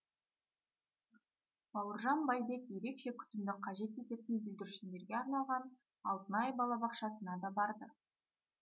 бауыржан байбек ерекше күтімді қажет ететін бүлдіршіндерге арналған алтынай балабақшасына да барды